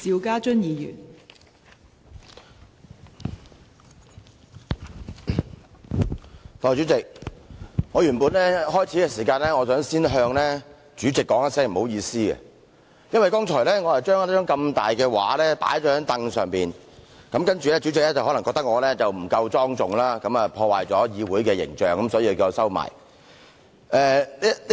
代理主席，我原本打算在開始時先向主席說聲"不好意思"，因為剛才我將這幅大型照片放在椅子上，主席可能認為我不夠莊重，破壞議會的形象，所以叫我把它收起來。